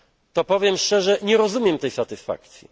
to powiem szczerze nie rozumiem tej satysfakcji.